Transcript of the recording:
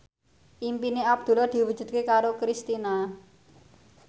impine Abdullah diwujudke karo Kristina